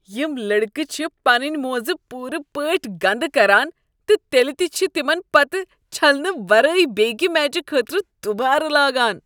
یم لڑکہٕ چھ پنٕنۍ موزٕ پورٕ پٲٹھۍ گندٕ کران تہٕ تیلِہ تِہ چھ تِمن پتہٕ چھلنہٕ ورٲے بیکِہ میچہ خٲطرٕ دوبارٕ لاگان۔